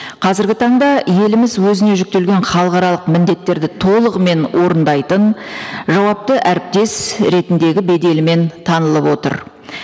қазіргі таңда еліміз өзіне жүктелген халықаралық міндеттерді толығымен орындайтын жауапты әріптес ретіндегі беделімен танылып отыр